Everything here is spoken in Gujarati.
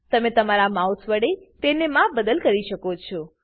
તમે તમારા માઉસ વડે તેને માપબદલ કરી શકો છો